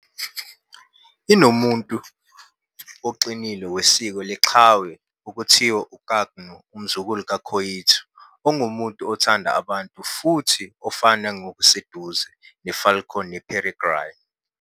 "inomuntu" oqinile wesiko leqhawe okuthiwa u-Kaknu, umzukulu ka-coyote, ongumuntu othanda abantu futhi ofana ngokuseduze nefalcon yeperegrine.